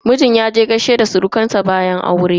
Mijin yaje gaishe da surukan sa bayan aure.